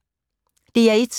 DR1